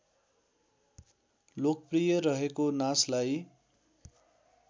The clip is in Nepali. लोकप्रिय रहेको नाचलाई